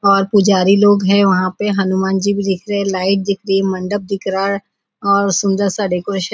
और पुजारी लोग हैं वहाँ पे हनुमान जी भी दिख रहे हैं लाइट दिख रही है मंडप दिख रहा है और सुंदर सा डेकोरेशन --